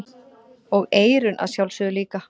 Og eyrun að sjálfsögðu líka.